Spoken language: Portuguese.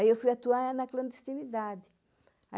Aí, eu fui atuar na clandestinidade.